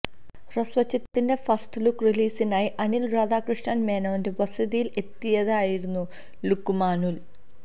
ഹ്രസ്വചിത്രത്തിന്റെ first look റിലീസിനായി അനില് രാധാകൃഷ്ണ മേനോന്റെ വസതിയില് എത്തിയതായിരുന്നു ലുക്കുമാനുല്